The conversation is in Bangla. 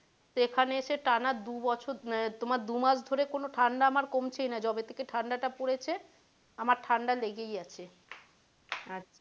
সেখানে এসে টানা দু বছর আহ তোমার দু মাস ধরে আমার ঠাণ্ডা কোনো কমছেই না যবে থেকে ঠাণ্ডা টা পড়েছে আমার ঠাণ্ডা লেগেই আছে